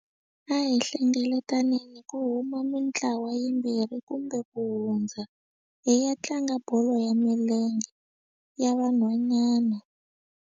A hi hlengeletanini ku huma mitlawa yimbirhi kumbe ku hundza hi ya tlanga bolo ya milenge ya vanhwanyana.